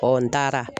n taara